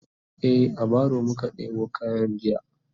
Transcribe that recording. e a baro muka ɗebo kayan jiya